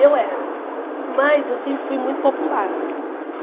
Eu era, mas eu sempre fui muito popular.